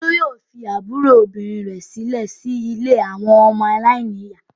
Olú yóò fi àbúrò obìnrin rẹ̀ sílẹ̀ sí ilé àwọn ọmọ aláìníìyá.